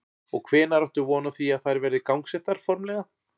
Og hvenær áttu von á því að þær verði gangsettar formlega?